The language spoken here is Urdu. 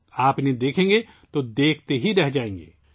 اگر آپ ان پر ایک نظر ڈالیں تو آپ مسحور رہ جائیں گے